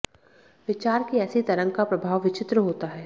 विचार की ऐसी तरंग का प्रभाव विचित्र होता है